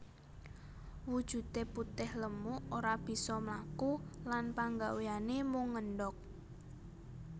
Wujude putih lemu ora bisa mlaku lan panggawéyané mung ngendhog